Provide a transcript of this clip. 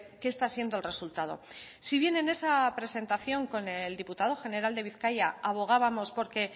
qué está siendo el resultado si bien en esa presentación con el diputado general de bizkaia abogábamos porque